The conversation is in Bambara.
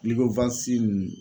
ninnu